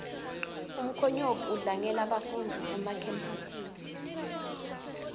umkhonyovu udlangela bafundzi emakhemphasi